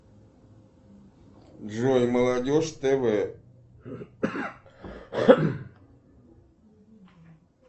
джой молодежь тв